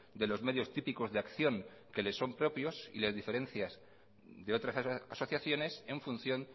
de los medios típicos de acción que le son propios y las diferencias de otras asociaciones en función